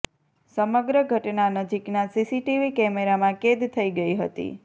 સમગ્ર ઘટના નજીકના સીસીટીવી કેમેરામાં કેદ થઇ ગઇ હતી